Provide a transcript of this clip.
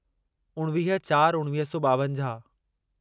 उणिवीह चार उणिवीह सौ ॿावंजाहु